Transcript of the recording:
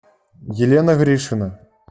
елена гришина